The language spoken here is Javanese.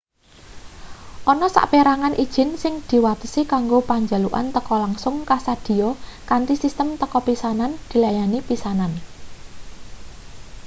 ana saperangan ijin sing diwatesi kanggo panjalukan teka langsung kasedhiya kanthi sistem teka pisanan dilayani pisanan